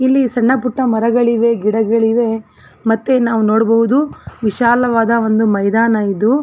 ಇಲ್ಲಿ ಸಣ್ಣಪುಟ್ಟ ಮರಗಳಿವೆ ಗಿಡಗಳಿವೆ ಮತ್ತೆ ನಾವು ನೋಡಬಹುದು ವಿಶಾಲವಾದ ಒಂದು ಮೈದಾನ ಇದ್ದು --